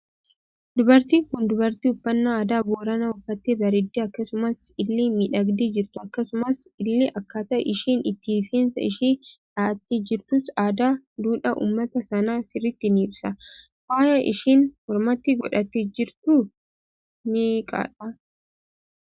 Dubartii Kun dubartii uffannaa aadaa boorana uffattee bareedee akkasumas illee miidhagdee jirtu akkasumas ille akkata isheen itti rifeensa ishee dha'atte jirtus aadaa duudhaa uummata sanaa sirritti ni ibsa. Faaya isheen mormaatti godhatte jirtu meeqadha?